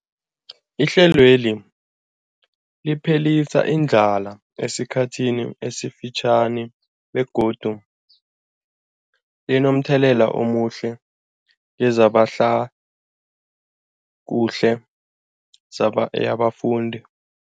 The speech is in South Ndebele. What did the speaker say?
Ihlelweli liphelisa indlala yesikhathi esifitjhani begodu linomthelela omuhle kezehlalakuhle yabafundi.